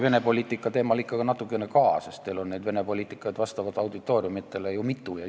Vene poliitika teemal on vaja ka natuke rääkida, sest teil on neid Vene poliitikaid vastavalt auditooriumile ju mitu.